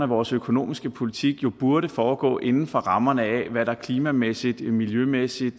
vores økonomiske politik jo burde foregå inden for rammerne af hvad der klimamæssigt miljømæssigt